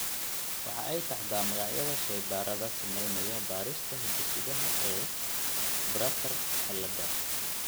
waxa ay taxdaa magacyada shaybaadhada samaynaya baadhista hidde-sidaha ee Bartter ciilada.